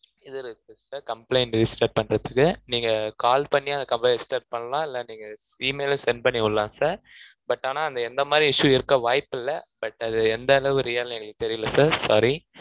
இதுல இருக்கும் sircomplaint register பண்றதுக்கு, நீங்க call பண்ணி, அந்த complaint register பண்ணலாம். இல்லை, நீங்க email லும் send பண்ணி விடலாம் sirbut ஆனா, அது எந்த மாதிரி issue இருக்க வாய்ப்பு இல்லை. but அது எந்த அளவு real ன்னு, எங்களுக்கு தெரியலே sir sorry